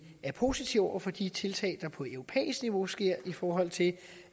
er positive over for de tiltag der på europæisk niveau sker i forhold til